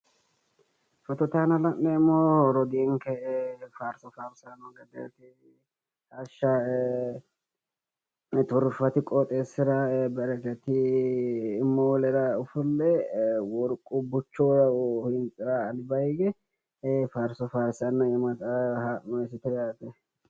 Photote aana la'neemohu rodiinike faariso farisanno gedeet hasha turufaati qooxesira bereket molera ofolle woriqu buchehu hintsira alibba hige faariso farsanna ha'noysite yaate